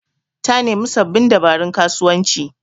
Ta nemi sababbin dabarun kasuwanci